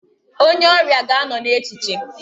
Onye ọrịa ga-anọ n'echiche.